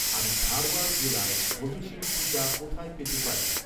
আমি ধারওয়াড় জেলায় কোভিশিল্ড টিকা কোথায় পেতে পারি?